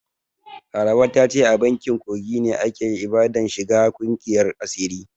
Laraba ta ce a bakin kogi ne aka yi ibadan shiga ƙungiyan asirin.